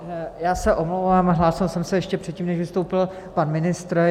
Já se omlouvám, hlásil jsem se ještě předtím, než vystoupil pan ministr.